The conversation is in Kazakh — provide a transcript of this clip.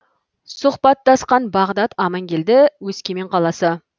сұхбаттасқан бағдат амангелді өскемен қаласы